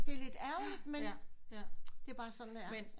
Det er lidt ærgerligt men det er bare sådan det er